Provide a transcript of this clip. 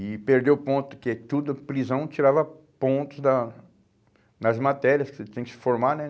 E perdeu ponto, porque todo prisão tirava pontos da nas matérias que você tem que se formar, né?